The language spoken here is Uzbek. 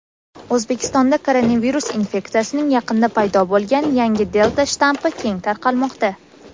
O‘zbekistonda koronavirus infeksiyasining yaqinda paydo bo‘lgan yangi "delta" shtammi keng tarqalmoqda.